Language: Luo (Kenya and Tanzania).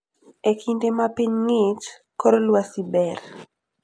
E kinde ma piny ng'ich, kor lwasi ber.